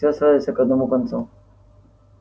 всё сводится к одному концу